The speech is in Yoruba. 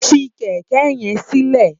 Fi kèkè yèn silè